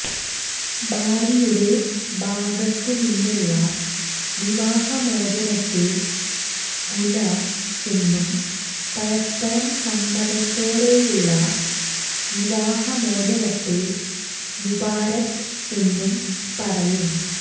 ഭാര്യയുടെ ഭാഗത്തുനിന്നുള്ള വിവാഹമോചനത്തെ ഖുല എന്നും പരസ്പരം സമ്മതത്തോടെയുള്ള വിവാഹമോചനത്തെ മുബാരാത്ത് എന്നും പറയും